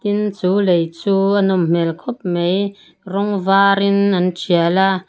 tin chu lei chu a nawm hmêl khawp mai rawng vârin an ṭial a.